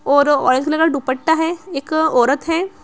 और orange colour का दुपट्टा है। एक औरत है।